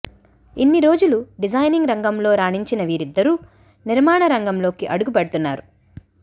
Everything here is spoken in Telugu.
ఇన్ని రోజులు డిజైనింగ్ రంగంలో రాణించిన వీరిద్దరూ నిర్మాణ రంగంలోకి అడుగు పెడుతున్నారు